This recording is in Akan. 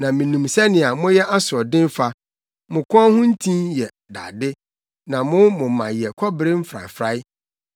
Na minim sɛnea moyɛ asoɔden fa mo kɔn ho ntin yɛ dade na mo moma yɛ kɔbere mfrafrae.